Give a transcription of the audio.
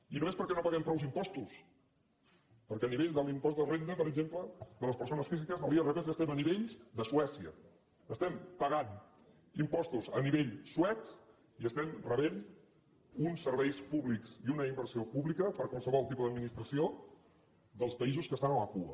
i no és perquè no paguem prou impostos perquè a ni·vell de l’impost de renda per exemple de les persones físiques de l’irpf estem a nivells de suècia estem pa·gant impostos a nivell suec i estem rebent uns serveis públics i una inversió pública per qualsevol tipus d’ad·ministració dels països que estan a la cua